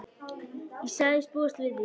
Ég sagðist búast við því.